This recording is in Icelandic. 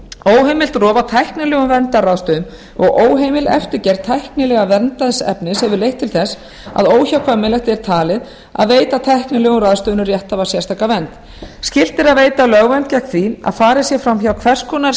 óheimilt er og tæknilegum verndarráðstöfunum og óheimil eftirgerð tæknilega verndaðs efnis hefur leitt til þess að óhjákvæmilegt er talið að veita tæknilegum ráðstöfunum rétthafa sérstaka vernd skylt er að veita lögvernd gegn því að farið sé fram hjá hvers konar